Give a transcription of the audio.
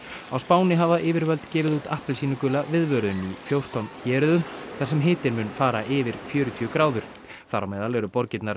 á Spáni hafa yfirvöld gefið út appelsínugula viðvörun í fjórtán héruðum þar sem hitinn mun fara yfir fjörutíu gráður þar á meðal eru borgirnar